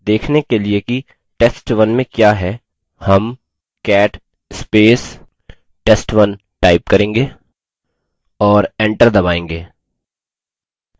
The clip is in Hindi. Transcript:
देखने के लिए कि test1 में क्या है हम $cat test1 करेंगे और enter दबायेंगे